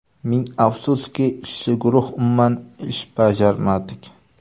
Ming afsuski, ishchi guruh umuman ish bajarmadik.